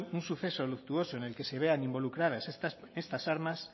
un suceso luctuoso en el que se vean involucradas estas armas